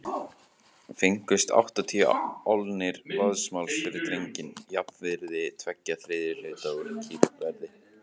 Fengust áttatíu álnir vaðmáls fyrir drenginn, jafnvirði tveggja þriðju hluta úr kýrverði.